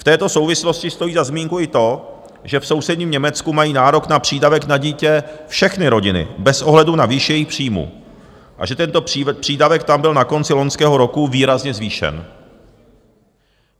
V této souvislosti stojí za zmínku i to, že v sousedním Německu mají nárok na přídavek na dítě všechny rodiny bez ohledu na výši jejich příjmů a že tento přídavek tam byl na konci loňského roku výrazně zvýšen.